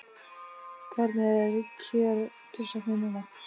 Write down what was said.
Hvernig er kjörsóknin núna?